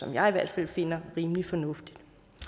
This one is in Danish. jeg i hvert fald finder rimelig fornuftigt